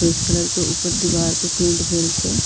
Peach colour के ऊपर दीवार प पेंट भेल छै।